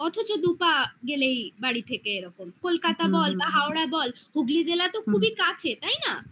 অথচ দু পা গেলেই বাড়ি থেকে এরকম কলকাতা বল বা হাওড়া বল হুগলি জেলা তো খুবই কাছে তাই না